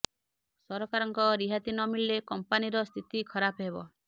ସରକାରଙ୍କ ରିହାତି ନ ମିଳିଲେ କମ୍ପାନୀର ସ୍ଥିତି ଖରାପ ହେବ